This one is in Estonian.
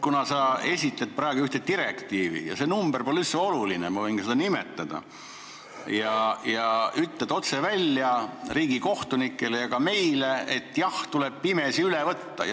Sa esitled praegu ühte direktiivi ja ütled otse välja riigikohtunikele ja meile, et jah, tuleb pimesi üle võtta.